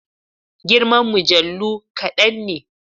Girman mujallu kadan ne.